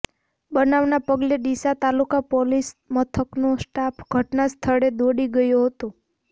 બનાવના પગલે ડીસા તાલુકા પોલીસ મથકનો સ્ટાફ ઘટના સ્થળે દોડી ગયો હતો